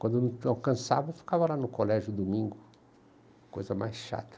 Quando não alcançava, eu ficava lá no colégio no domingo, coisa mais chata.